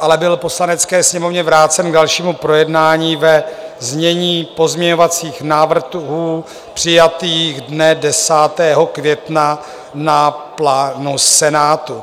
ale byl Poslanecké sněmovně vrácen k dalšímu projednání ve znění pozměňovacích návrhů přijatých dne 10 května na plénu Senátu.